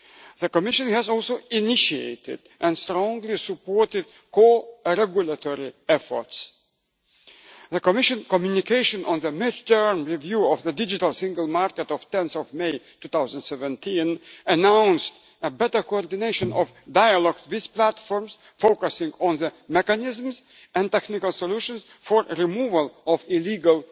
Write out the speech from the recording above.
The Commission has also initiated and strongly supported co regulatory efforts. The Commission communication on the mid term review of the Digital Single Market of 10 May 2017 announced a better coordination of dialogues with platforms, focusing on the mechanisms and technical solutions for the removal of illegal